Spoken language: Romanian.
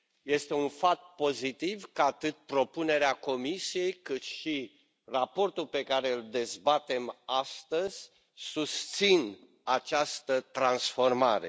Este un fapt pozitiv că, atât propunerea Comisiei, cât și raportul pe care îl dezbatem, astăzi susțin această transformare.